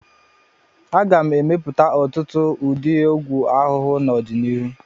A ga-emepụta ọtụtụ ụdị ọgwụ ahụhụ n'ọdịnihu.